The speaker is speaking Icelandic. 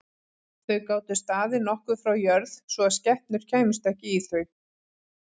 Þau gátu staðið nokkuð frá jörð svo að skepnur kæmust ekki í þau.